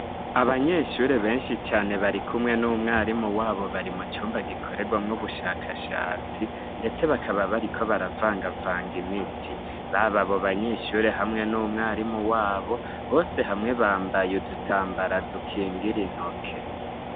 Abanyeshure benshi cane bari kumwe n'umwarimu wabo bari mu cumba gikorerwa mw'ubushakashatsi ndetse bakaba bari ko baravanga vanga imiti baba bo banyeshure hamwe n'umwarimu wabo bose hamwe bambaye udutambara dukingira intoke.